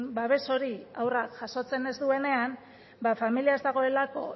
babes hori haurra jasotzen ez duenean ba familia ez dagoelako